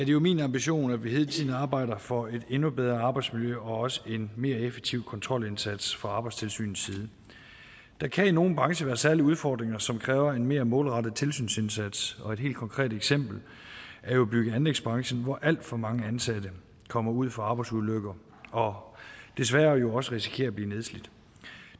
jo min ambition at vi hele tiden arbejder for et endnu bedre arbejdsmiljø og også en mere effektiv kontrolindsats fra arbejdstilsynets side der kan i nogle brancher være særlige udfordringer som kræver en mere målrettet tilsynsindsats og et helt konkret eksempel er bygge og anlægsbranchen hvor alt for mange ansatte kommer ud for arbejdsulykker og desværre jo også risikerer at blive nedslidt